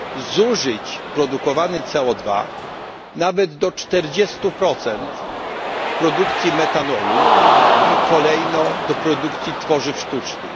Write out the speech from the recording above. zużyć produkowany CO2 nawet do 40 w produkcji metanolu i kolejno do produkcji tworzyw sztucznych?